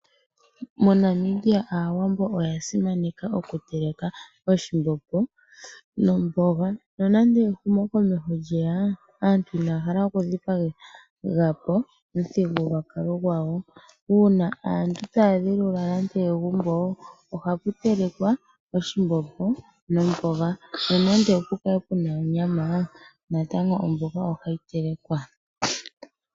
MoNamibia aawambo oya simaneka oku teleka oshimbombo nomboga. Nonande ehumokomeho lyeya aantu inaya hala oku dhipaga omuthigululwakalo gwayo. Ngele aantu taya dhilula nande egumbo oha pu telekwa oshimbombo nomboga. Nonande opu kale puna onyama natango omboga ohayi telekwa.